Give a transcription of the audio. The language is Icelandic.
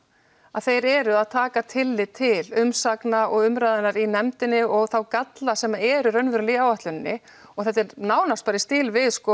að þeir eru að taka tillit til umsagna og umræðunnar í nefndinni og þá galla sem eru raunverulega í áætluninni og þetta er nánast bara í stíl við